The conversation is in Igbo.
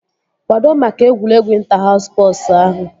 Kwado maka egwuregwu ịnta haus spọsu ahụ!